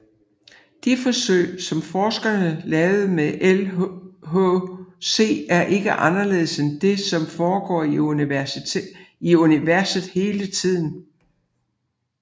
De forsøg som forskerne laver med LHC er ikke anderledes end det som foregår i universet hele tiden